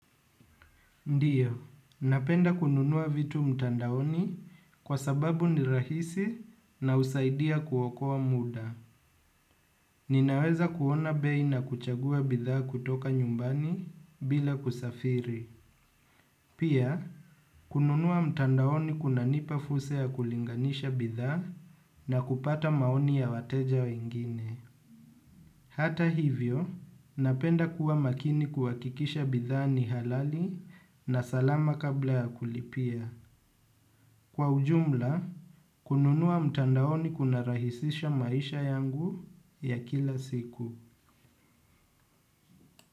Ndio, napenda kununua vitu mtandaoni kwa sababu ni rahisi na husaidia kuokoa muda. Ninaweza kuona bei na kuchagua bidhaa kutoka nyumbani bila kusafiri. Pia, kununua mtandaoni kunanipa fursa ya kulinganisha bidhaa na kupata maoni ya wateja wengine. Hata hivyo, napenda kuwa makini kuhakikisha bidhaa ni halali na salama kabla ya kulipia. Kwa ujumla, kununua mtandaoni kunarahisisha maisha yangu ya kila siku.